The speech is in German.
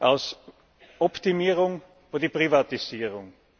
aus Optimierung wurde Privatisierung.